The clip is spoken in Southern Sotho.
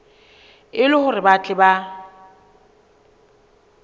e le hore ba tle